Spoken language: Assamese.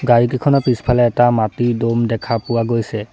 গাড়ীকিখনৰ পিছফালে এটা মাটিৰ দ'ম দেখা পোৱা গৈছে।